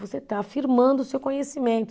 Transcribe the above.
Você está afirmando o seu conhecimento.